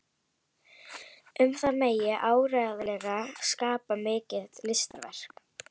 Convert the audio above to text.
Um það megi áreiðanlega skapa mikið listaverk.